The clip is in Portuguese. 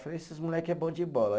Falei, esses moleque é bom de bola.